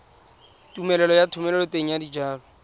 tumelelo ya thomeloteng ya dijalo